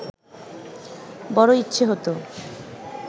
বড় ইচ্ছে হত